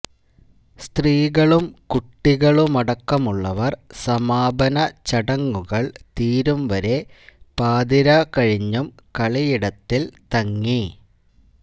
സ്ത്രീകളും കുട്ടികളുമടക്കമുള്ളവർ സമാപന ചടങ്ങുകൾ തീരുംവരെ പാതിരാ കഴിഞ്ഞും കളിയിടത്തിൽ തങ്ങി